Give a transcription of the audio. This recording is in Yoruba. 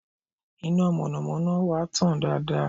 Iná mọ̀nàmọ́ná wa tàn dáadáa